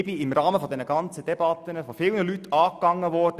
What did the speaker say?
Ich bin im Rahmen dieser ganzen Debatten von vielen Leuten angegangen worden: